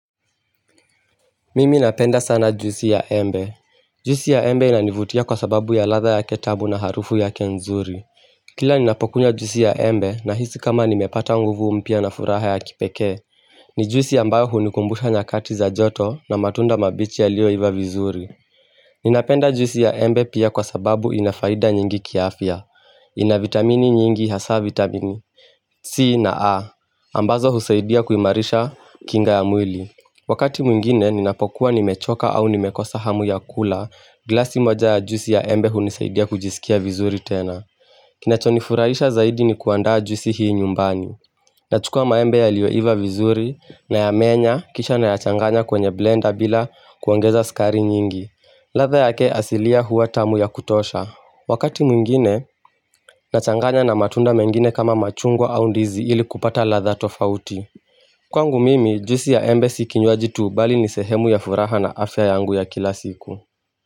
Mimi napenda sana juisi ya embe. Juisi ya embe inanivutia kwa sababu ya ladha yake tamu na harufu yake nzuri Kila ninapokunywa juisi ya embe nahisi kama nimepata nguvu mpya na furaha ya kipekee ni juisi ambayo hunikumbusha nyakati za joto na matunda mabichi yaliyoiva vizuri Ninapenda juisi ya embe pia kwa sababu inafaida nyingi kiafya, ina vitamini nyingi hasaa vitamini C na A, ambazo husaidia kuimarisha kinga ya mwili. Wakati mwingine ninapokuwa nimechoka au nimekosa hamu ya kula, glasi moja ya juisi ya embe hunisaidia kujisikia vizuri tena. Kinachonifurahisha zaidi ni kuandaa juisi hii nyumbani. Nachukua maembe yaliyoiva vizuri nayamenya kisha nayachanganya kwenye blender bila kuongeza sukari nyingi. Ladha yake asilia huwa tamu ya kutosha. Wakati mwingine, nachanganya na matunda mengine kama machungwa au ndizi ili kupata ladha tofauti. Kwangu mimi, juisi ya embe si kinywaji tu bali ni sehemu ya furaha na afya yangu ya kila siku.